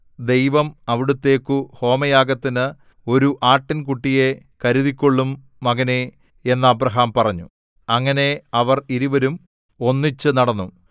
ദൈവം അവിടുത്തേക്കു ഹോമയാഗത്തിന് ഒരു ആട്ടിൻകുട്ടിയെ കരുതിക്കൊള്ളും മകനേ എന്ന് അബ്രാഹാം പറഞ്ഞു അങ്ങനെ അവർ ഇരുവരും ഒന്നിച്ച് നടന്നു